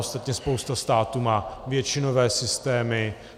Ostatně spousta států má většinové systémy.